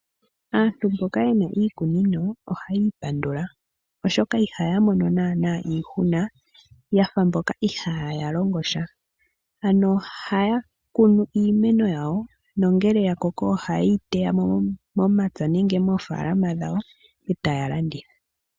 Aantu mboka ye na iikunino ohaya ipandula, oshoka ihaya mono naanaa iihuna ya fa mboka ihaya longo sha. Ano ohaya kunu iimeno yawo nongele ya koko ohaye yi teya mo momapya nenge moofaalama dhawo e taya landitha.